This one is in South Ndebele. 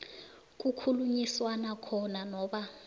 kukhulunyiswana khona noba